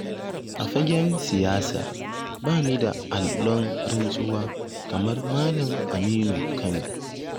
A fagen siyasa bani da allon-rantsuwa kamar malam Aminu Kano.